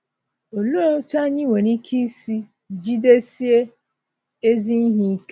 Olee otú anyị nwere ike isi ‘ jidesie ezi ihe ike?